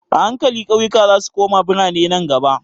A hankali ƙauyuka zasu koma biranai nan gaba.